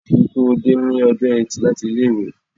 Rí pé ó dé ní ọjọ́ eti láti ilé-ìwé.